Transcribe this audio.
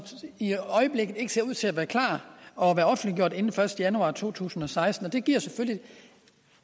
i øjeblikket ikke ser ud til at være klare og være offentliggjort inden den første januar to tusind og seksten og det giver selvfølgelig